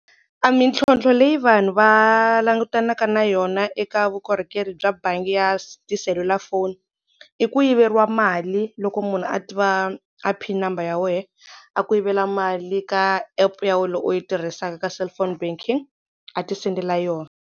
A mintlhontlho leyi vanhu va langutanaka na yona eka vukorhokeri bya bangi ya se tiselulafoni i ku yiveriwa mali loko munhu a tiva a pin number ya wehe a ku yivela mali ka app ya wehe leyi u yi tirhisaka ka cellphone banking a ti sendela yona.